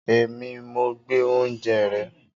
Èmi, mo gbé oúnjẹ rẹ